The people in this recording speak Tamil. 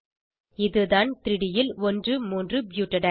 இதுதான் 3ட் ல் 13 ப்யூட்டடைன்